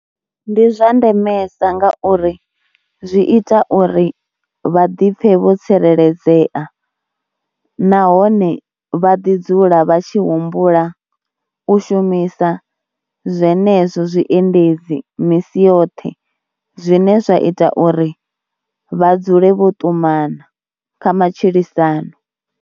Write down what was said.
Ndi zwa ndemesa nga uri zwi ita uri vha ḓipfhe vho tsireledzea nahone vha ḓidzula vha tshi humbula u shumisa zwenezwo zwiendedzi misi yoṱhe zwine zwa ita uri vha dzule vho ṱumana kha matshilisano.